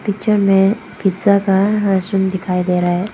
Picture में pizza का restaurant दिखाई दे रहा है।